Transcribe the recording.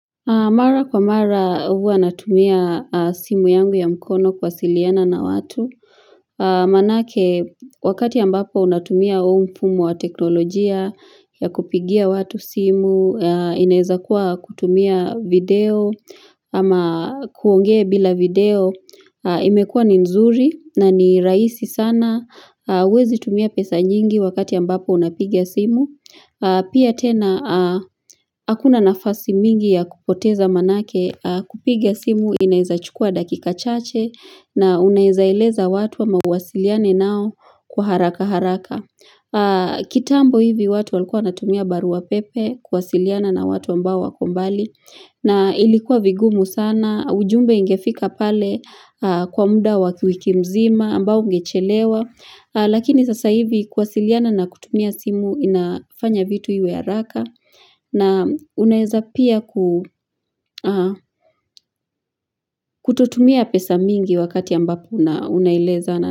Mara kwa mara huwa natumia simu yangu ya mkono kuwasiliana na watu. Manake wakati ambapo unatumia huu mfumo wa teknolojia ya kupigia watu simu, inaweza kuwa kutumia video ama kuongea bila video imekuwa ni nzuri na ni rahisi sana. Wezi tumia pesa nyingi wakati ambapo unapigia simu. Pia tena hakuna nafasi mingi ya kupoteza manake kupiga simu inawezachukua dakika chache na unaweza eleza watu ama uwasiliane nao kwa haraka haraka. Kitambo hivi watu walikuwa wanatumia baru wa pepe kuwasiliana na watu ambao wako mbali na ilikuwa vigumu sana. Na ujumbe ingefika pale kwa muda wa wiki mzima, ambao ungechelewa, lakini sasa hivi kuwasiliana na kutumia simu inafanya vitu iwe haraka, na unaweza pia kutotumia pesa mingi wakati ambapo unaeleza.